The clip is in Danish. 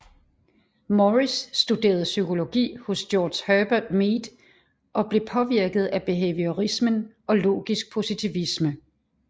Morris studerede psykologi hos George Herbert Mead og blev påvirket af behaviorismen og logisk positivisme